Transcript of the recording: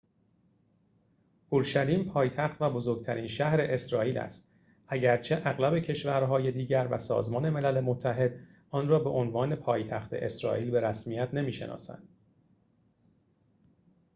اورشلیم پایتخت و بزرگترین شهر اسرائیل است اگرچه اغلب کشورهای دیگر و سازمان ملل متحد آن را به‌عنوان پایتخت اسرائیل به رسمیت نمی‌شناسند